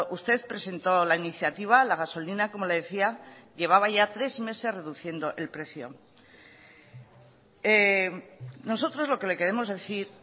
usted presentó la iniciativa la gasolina como le decía llevaba ya tres meses reduciendo el precio nosotros lo que le queremos decir